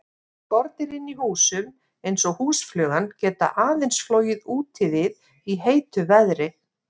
Skordýr inni í húsum, eins og húsflugan, geta aðeins flogið úti við í heitu veðri.